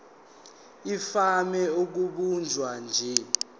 ivame ukubanjwa nje